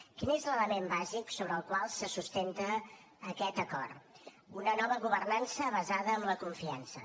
quin és l’element bàsic sobre el qual se sustenta aquest acord una nova governança basada en la confiança